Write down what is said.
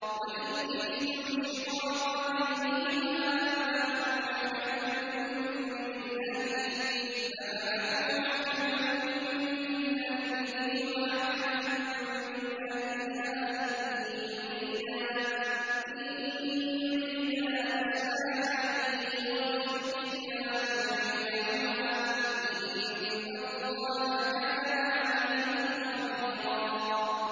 وَإِنْ خِفْتُمْ شِقَاقَ بَيْنِهِمَا فَابْعَثُوا حَكَمًا مِّنْ أَهْلِهِ وَحَكَمًا مِّنْ أَهْلِهَا إِن يُرِيدَا إِصْلَاحًا يُوَفِّقِ اللَّهُ بَيْنَهُمَا ۗ إِنَّ اللَّهَ كَانَ عَلِيمًا خَبِيرًا